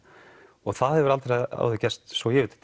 og það hefur aldrei áður gerst svo ég viti